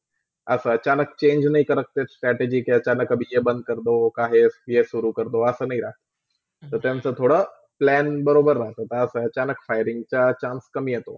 असा अचानक change नय करतते strategyके अचानक काभी ये बंद करदो, काहे ये सुरु करदो, असा नय राहत, तर त्यांचा थोडा Plan बरोबर राहते अचानक firing च Chance कमी येतो.